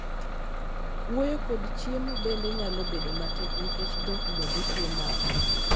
wuoyo kod chiemo bende nyalo bedo matek nikech dhok bende tuo mako